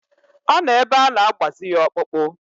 Ọ nọ ebe ana-agbazi ya ọkpụkpụ.